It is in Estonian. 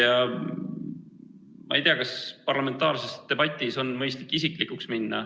Ja ma ei tea, kas parlamentaarses debatis on mõistlik isiklikuks minna.